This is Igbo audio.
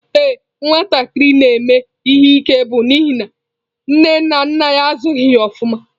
Ee nwatakịrị na-eme ihe ike bụ n'ihi nne na nna ya azụghị ya ofuma.